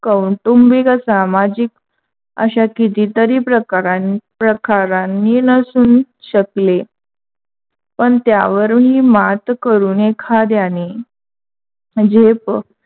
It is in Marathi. कौटुंबिक, सामाजिक अशा किती तरी प्रकारं प्रकारांनी नसून शकले. पण त्यावरुन ही मात करून एखाद्याने म्हणजे हे बघ